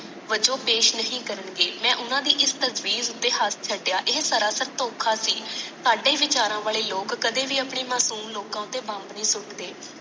ਵੱਜੋ ਪੇਸ਼ ਨਹੀਂ ਕਰਨਗੇ ਮੈ ਓਨਾ ਦੀ ਇਸ ਤਸਵੀਰ ਉਤੇ ਹੱਸ ਛੱਡਿਆ ਇਹ ਸਾਰਾ ਸਰ ਦੋਖਾ ਸੀ ਸਾਡੇ ਵਿਚਾਰਾ ਵਾਲੇ ਲੋਕ ਕਦੇ ਵੀ ਆਪਣੇ ਮਾਸੂਮ ਲੋਕਾ ਉਤੇ ਬੰਬ ਨਹੀਂ ਸੁਟ੍ਹਦੇ